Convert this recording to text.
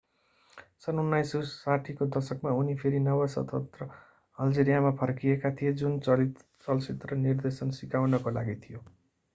सन् 1960 को दशकमा उनी फेरि नव-स्वतन्त्र अल्जेरियामा फर्किएका थिए जुन चलचित्र निर्देशन सिकाउनका लागि थियो